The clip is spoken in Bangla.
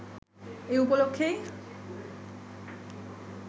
এ উপলক্ষেই